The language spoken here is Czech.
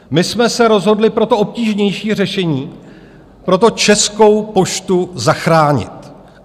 My jsme se rozhodli pro to obtížnější řešení - pro to, Českou poštu zachránit.